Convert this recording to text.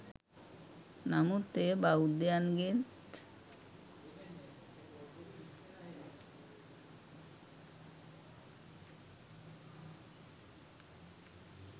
නමුත් එය බෞද්ධයන්ගේත්